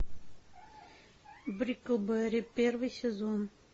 бриклберри первый сезон